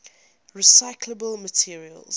recyclable materials